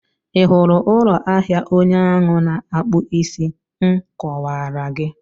Ị hụrụ ụlọ ahịa onye ahụ na-akpụ isí m kọwaara gị?